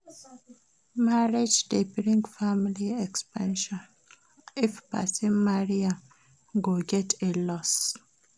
Marriage de bring family expansion If persin marry im go get inlaws